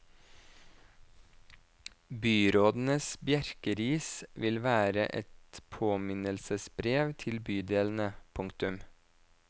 Byrådens bjerkeris vil være et påminnelsesbrev til bydelene. punktum